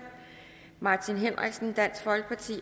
martin henriksen